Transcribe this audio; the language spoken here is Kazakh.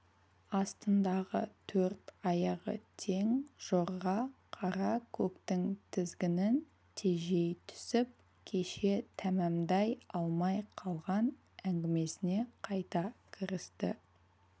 астындағы төрт аяғы тең жорға қара көктің тізгінін тежей түсіп кеше тәмәмдай алмай қалған әңгімесіне қайта кірісті